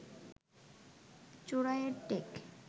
চোরাইয়ের take